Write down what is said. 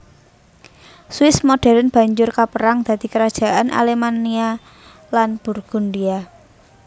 Swiss modern banjur kaperang dadi Kerajaan Alemannia lan Burgundia